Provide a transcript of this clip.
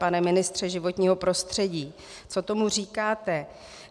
Pane ministře životního prostředí, co tomu říkáte?